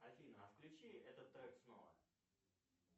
афина а включи этот трек снова